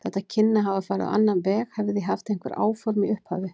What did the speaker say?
Þetta kynni að hafa farið á annan veg, hefði ég haft einhver áform í upphafi.